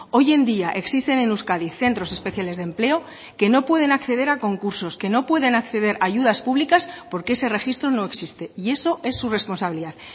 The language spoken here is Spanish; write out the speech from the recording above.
hoy en día existen en euskadi centros especiales de empleo que no pueden acceder a concursos que no pueden acceder a ayudas públicas porque ese registro no existe y eso es su responsabilidad